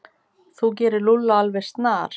Þú gerir Lúlla alveg snar